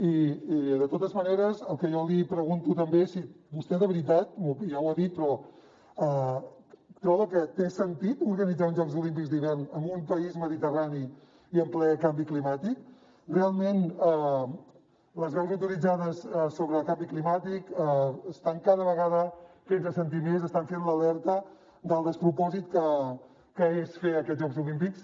i de totes maneres jo li pregunto també si vostè de veritat ja ho ha dit però troba que té sentit organitzar uns jocs olímpics d’hivern en un país mediterrani i en ple canvi climàtic realment les veus autoritzades sobre el canvi climàtic estan cada vegada fent se sentir més estan fent l’alerta del despropòsit que és fer aquests jocs olímpics